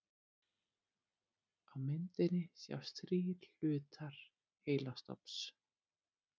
Á myndinni sjást þrír hlutar heilastofns.